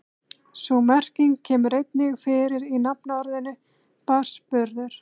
Sú merking kemur einnig fyrir í nafnorðinu barnsburður.